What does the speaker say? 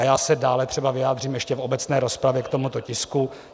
A já se dále třeba vyjádřím ještě v obecné rozpravě k tomuto tisku.